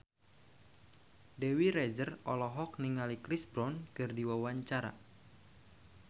Dewi Rezer olohok ningali Chris Brown keur diwawancara